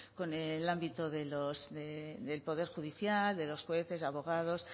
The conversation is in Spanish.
con el ámbito del poder judicial de los jueces abogados